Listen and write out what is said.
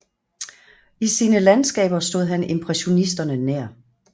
I sine landskaber stod han impressionisterne nær